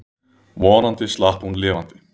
Vonandi slapp hún lifandi.